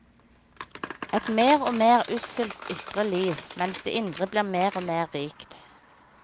Et mer og mer usselt ytre liv, mens det indre blir mer og mer rikt.